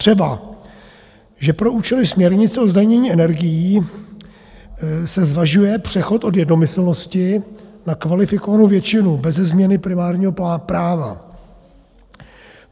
Třeba že pro účely směrnice o zdanění energií se zvažuje přechod od jednomyslnosti na kvalifikovanou většinu, beze změny primárního práva.